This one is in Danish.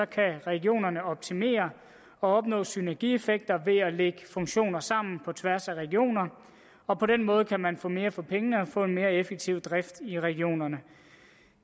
kan regionerne optimere og opnå synergieffekter ved at lægge funktioner sammen på tværs af regioner og på den måde kan man få mere for pengene og få en mere effektiv drift i regionerne